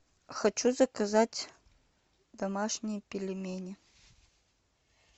хочу заказать домашние пельмени